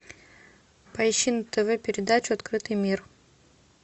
поищи на тв передачу открытый мир